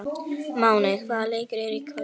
Máney, hvaða leikir eru í kvöld?